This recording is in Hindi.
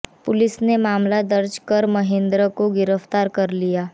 पुलिस ने मामला दर्ज कर महेंद्र को गिरफ्तार कर लिया